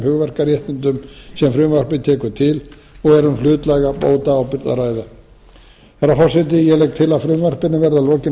hugverkaréttindum sem frumvarpið tekur til og er um hlutlæga bótaábyrgð að ræða herra forseti ég legg til að frumvarpinu verði að lokinni